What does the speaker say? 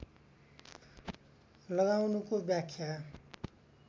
लगाउनुको व्याख्या